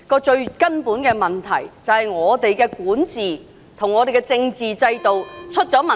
最根本的問題，是香港的管治及政治制度有問題。